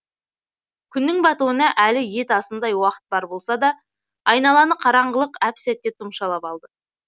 күннің батуына әлі ет асымдай уақыт бар болса да айналаны қараңғылық әп сәтте тұмшалап алды